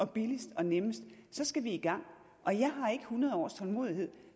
billigst og nemmest så skal i gang og jeg har ikke hundrede års tålmodighed